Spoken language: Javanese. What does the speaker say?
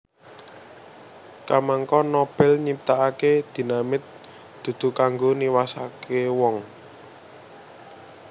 Kamangka Nobel nyiptakake dinamit dudu kanggo niwasake wong